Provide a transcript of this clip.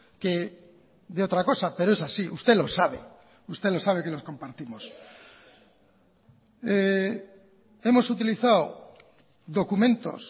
que de otra cosa pero es así usted lo sabe usted lo sabe que los compartimos hemos utilizado documentos